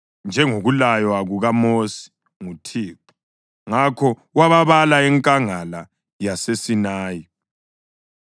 njengokulaywa kukaMosi nguThixo. Ngakho wababala enkangala yaseSinayi: